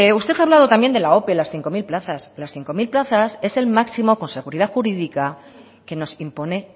usted ha hablado también de la ope las cinco mil plazas las cinco mil plazas es el máximo con seguridad jurídica que nos impone